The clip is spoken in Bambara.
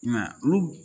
I m'a ye olu